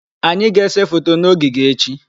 Anyị ga-ese foto na ogige echi.